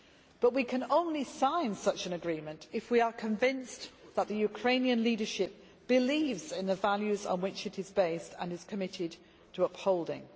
But we can only sign such an agreement if we are convinced that the Ukrainian leadership believes in the values on which it is based, and is committed to upholding.